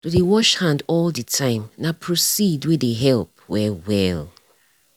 to dey wash hand all the the time nah proceed wey dey help well well.